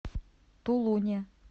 тулуне